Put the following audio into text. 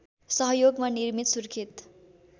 सहयोगमा निर्मित सुर्खेत